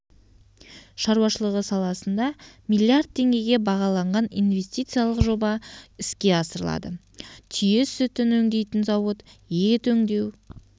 шаруашылығы саласында миллиард теңгеге бағаланған инвестициялық жоба іске асырылады түйе сүтін өңдейтін зауыт ет өңдеу